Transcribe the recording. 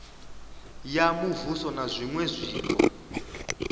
ya muvhuso na zwiṅwe zwiko